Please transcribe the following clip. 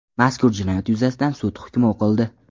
Mazkur jinoyat yuzasidan sud hukmi o‘qildi.